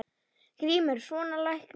GRÍMUR: Svona læknir.